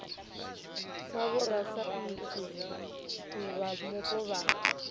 sa vhorasaintsi vha mupo vha